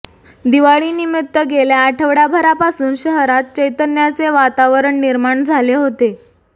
दिवाळीनिमित्त गेल्या आठवडाभरापासून शहरात चैतन्याचे वातावरण निर्माण झाले होते